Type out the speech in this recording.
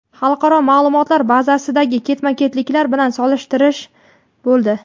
xalqaro ma’lumotlar bazasidagi ketma-ketliklar bilan solishtirish bo‘ldi.